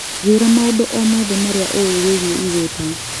njĩira maũndũ o mothe marĩa uĩ wĩigie igũta